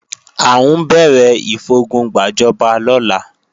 À ń bẹ̀rẹ̀ ìfogun gbàjọba lọ́la